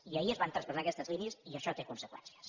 i ahir es van traspassar aquestes línies i això té conseqüències